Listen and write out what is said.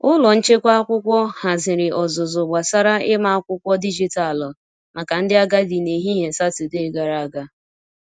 Ụlọ nchekwa akwụkwọ haziri ọzụzụ gbasara ịma akwụkwọ dijitalụ maka ndị agadi n’ehihie Satọdee gara aga.